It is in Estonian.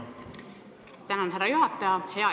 Tänan, härra juhataja!